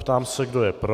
Ptám se, kdo je pro.